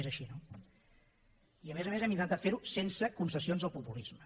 és així no i a més a més hem intentat fer ho sense concessions al populisme